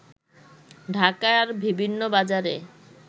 ঢাকার বিভিন্ন বাজারে